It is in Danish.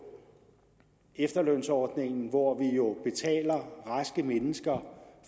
efterlønsordningen hvor vi jo betaler raske mennesker